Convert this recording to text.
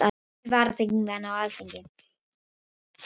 Þrír varaþingmenn á Alþingi